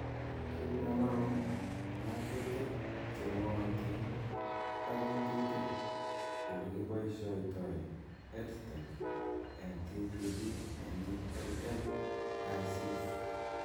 Kit nema'ngu, ngatutik chemwootin, ak ng'atutik olikiboishoitoi EdTech eng TPD nemii LMICs.